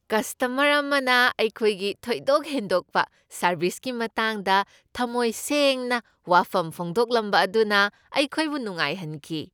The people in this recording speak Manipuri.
ꯀꯁꯇꯃꯔ ꯑꯃꯅ ꯑꯩꯈꯣꯏꯒꯤ ꯊꯣꯏꯗꯣꯛ ꯍꯦꯟꯗꯣꯛꯄ ꯁꯔꯕꯤꯁꯀꯤ ꯃꯇꯥꯡꯗ ꯊꯝꯃꯣꯏ ꯁꯦꯡꯅ ꯋꯥꯐꯝ ꯐꯣꯡꯗꯣꯛꯂꯝꯕ ꯑꯗꯨꯅ ꯑꯩꯈꯣꯏꯕꯨ ꯅꯨꯡꯉꯥꯏꯍꯟꯈꯤ ꯫